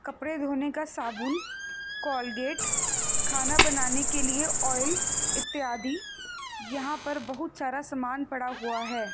कपड़े धोने का साबुन कोलगेट खाना बनाने के लिए ऑयल इत्यादि यहां पर बहुत सारा समान पड़ा हुआ है।